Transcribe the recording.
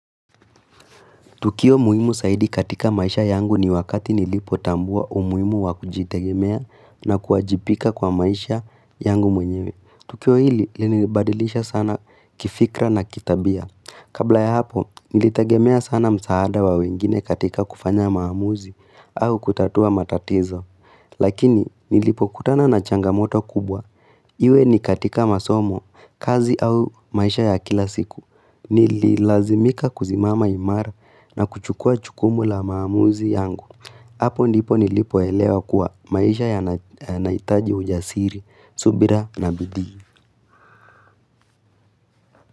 Tukio muhimu zaidi katika maisha yangu ni wakati nilipotambua umuhimu wa kujitegemea na kuajipika kwa maisha yangu mwenyewe. Tukio hili, nilibadilisha sana kifikra na kitabia. Kabla ya hapo, nilitegemea sana msaada wa wengine katika kufanya maamuzi au kutatua matatizo. Lakini, nilipokutana na changamoto kubwa, iwe ni katika masomo, kazi au maisha ya kila siku. Nililazimika kuzimama imara na kuchukua jukumu la maamuzi yangu hapo ndipo nilipoelewa kuwa maisha yanaitaji ujasiri, subira na bidii.